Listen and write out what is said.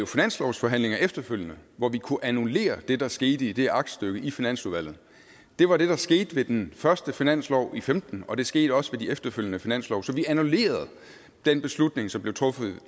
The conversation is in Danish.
finanslovsforhandlinger efterfølgende hvor vi kunne annullere det der skete i det aktstykke i finansudvalget det var det der skete ved den første finanslov i femten og det skete også ved de efterfølgende finanslove så vi annullerede den beslutning som blev truffet